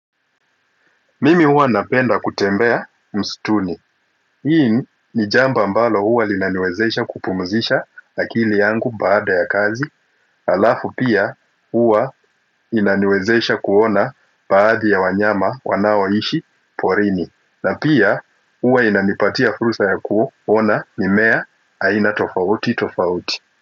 Mimi huwa napenda kutembea msituni hii ni jambo ambalo huwa linaniwezesha kupumzisha akili yangu baada ya kazi alafu pia huwa inaniwezesha kuona baadhi ya wanyama wanaoishi porini na pia huwa inanipatia fursa ya kuona mimmea aina tofauti tofauti.